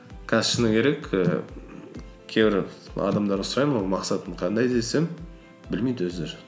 қазір шыны керек і кейбір адамдардан сұраймын ғой мақсатың қандай десем білмейді өздері